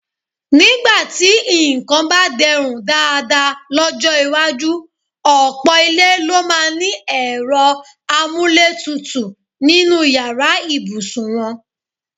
Nígbà tí nǹkan bá de̩rùn dáadáa ló̩jó̩ iwájú, ò̩pò̩ ilé ló máa ní e̩ro̩ amúlétutù nínú yàrá ìbùsùn wo̩̣n.